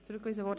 Rückweisung;